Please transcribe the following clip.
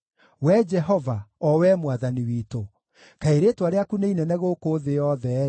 Wee Jehova, o Wee Mwathani witũ, kaĩ rĩĩtwa rĩaku nĩ inene gũkũ thĩ yothe-ĩ!